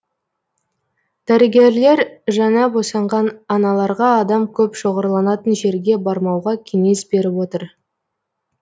дәрігерлер жаңа босанған аналарға адам көп шоғырланатын жерге бармауға кеңес беріп отыр